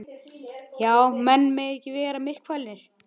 Já, menn mega ekki vera myrkfælnir.